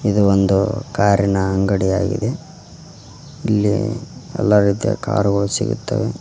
ಇದು ಒಂದು ಕಾರಿನ ಅಂಗಡಿಯಾಗಿದೆ ಇಲ್ಲಿ ಎಲ್ಲಾ ರೀತಿಯ ಕಾರುಗಳು ಸಿಗುತ್ತವೆ.